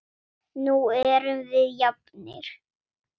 Nú erum við jafnir.